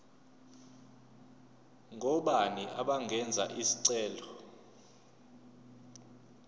ngobani abangenza isicelo